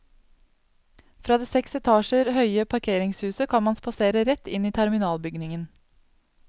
Fra det seks etasjer høye parkeringshuset kan man spasere rett inn i terminalbygningen.